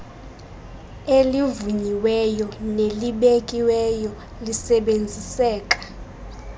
elivunyiweyo nelibekiweyo lisebenziseka